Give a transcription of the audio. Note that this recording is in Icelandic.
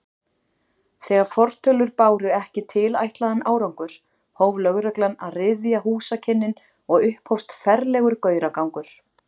Þegar fortölur báru ekki tilætlaðan árangur, hóf lögreglan að ryðja húsakynnin og upphófst ferlegur gauragangur.